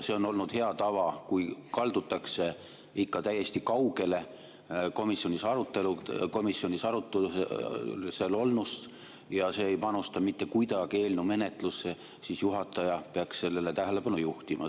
See on olnud hea tava, et kui kaldutakse ikka täiesti kaugele komisjoni arutelust ja see ei panusta mitte kuidagi eelnõu menetlusse, siis juhataja peaks sellele tähelepanu juhtima.